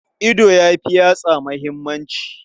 Ido ya fi yatsa muhimmanci.